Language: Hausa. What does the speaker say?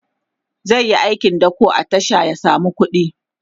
zaiyi aikin dako a tasha ya samu kuɗi